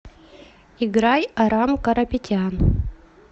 играй арам карапетян